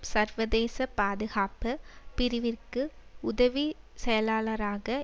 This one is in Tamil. சர்வதேச பாதுகாப்பு பிரிவிற்கு உதவிச் செயலாளராக